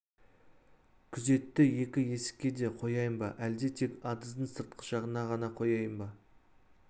күзетті екі есікке де қояйын ба әлде тек адыздың сыртқы жағына ғана қояйын ба